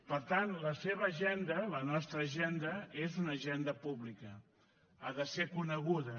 per tant la seva agenda la nostra agenda és una agenda pública ha de ser coneguda